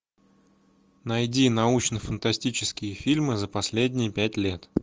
найди научно фантастические фильмы за последние пять лет